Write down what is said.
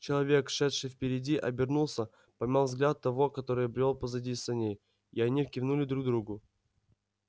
человек шедший впереди обернулся поймал взгляд того который брёл позади саней и они кивнули друг другу